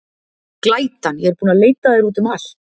Glætan, ég er búin að leita að þér út um allt.